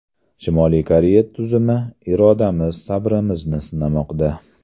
Shimoliy Koreya tuzumi irodamiz, sabrimizni sinamoqda.